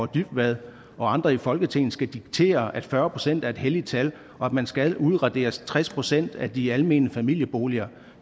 dybvad og andre i folketinget skal diktere at fyrre procent er et helligt tal og at man skal udradere tres procent af de almene familieboliger